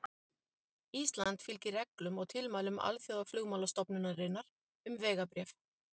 Ísland fylgir reglum og tilmælum Alþjóðaflugmálastofnunarinnar um vegabréf.